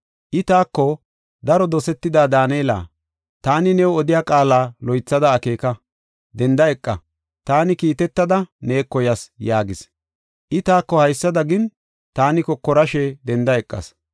I taako, “Daro dosetida Daanela, taani new odiya qaala loythada akeeka; denda eqa. Taani kiitetada neeko yas” yaagis. I taako haysada gin, taani kokorashe denda eqas.